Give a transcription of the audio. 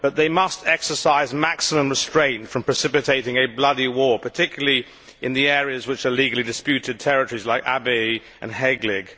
But they must exercise maximum restraint to avoid precipitating a bloody war, particularly in the areas which are legally disputed territories like Abyei and Heglig.